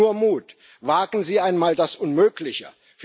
Nur Mut Wagen Sie einmal das Unmögliche!